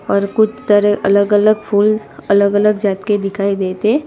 और कुछ तरह अलग अलग फुल अलग अलग जात के दिखाई देते--